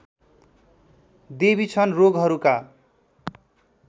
देवी छन् रोगहरूका